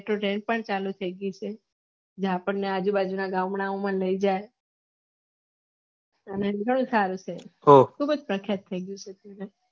એ પણ ચાલુ થઇ ગયી છે જ્યાં આપણ ને આજુ બાજુ ના ગામડા માં લઇ જાય અને ઘણું સારું છે ખુબજ પ્રખ્યાત છે